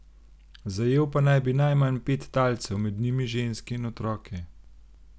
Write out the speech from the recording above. Zajel pa naj bi najmanj pet talcev, med njimi ženske in otroke.